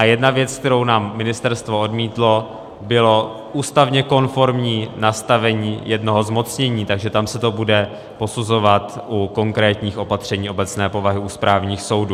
A jedna věc, kterou nám ministerstvo odmítlo, bylo ústavně konformní nastavení jednoho zmocnění, takže tam se to bude posuzovat u konkrétních opatření obecné povahy u správních soudů.